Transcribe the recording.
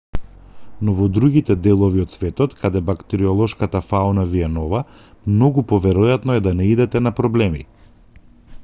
но во другите делови од светот каде бактериолошката фауна ви е нова многу поверојатно е да наидете на проблеми